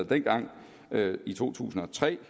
dengang i to tusind og tre